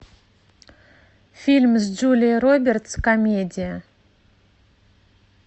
фильм с джулией робертс комедия